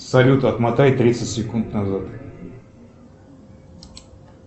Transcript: салют отмотай тридцать секунд назад